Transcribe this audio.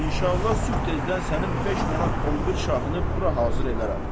İnşallah sübh tezdən sənin 5 manat 11 şahını bura hazır edərəm.